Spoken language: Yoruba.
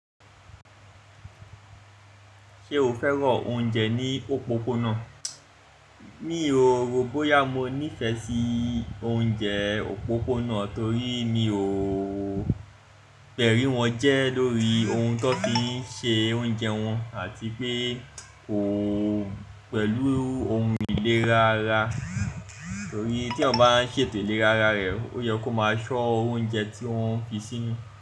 Ṣé o fẹ́ràn oúnjẹ ní òpópónà? Mi o, ròbòyá mo nífẹ̀ẹ́ sí oúnjẹ òpópónà torí mi ò gbẹ̀rí wọn jẹ́ lórí ohun ti won fi ń ṣe oúnjẹ wọn àti pé kò pẹ̀lú ohun ìlera ara. Torí tí eeyan bá ń ṣètò ìlera ara rẹ, ó yẹ kó máa ṣọ́ oúnjẹ tí wọ́n fi sí inú.